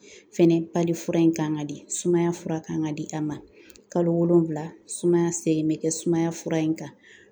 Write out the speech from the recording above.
Fɛnɛ fura in kan ka di sumaya fura kan ka di a ma kalo wolonfila sumaya segin bɛ kɛ sumaya fura in kan .